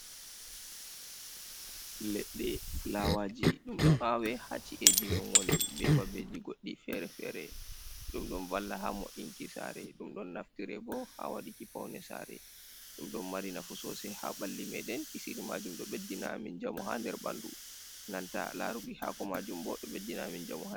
leɗɗe fulawaji dum ɗon awe hacci eji min woni be babbeji goddi fere-fere dum dun valla ha mo inki sare dum don naftire bo ha waduki paune sare dum don mari nafu sosa ha balli maden kisiri majum do beddinamin jamu ha nder bandu nanta laruki hako majum bo do beddinamin jamuhaa.